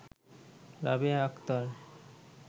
Rabeya Akter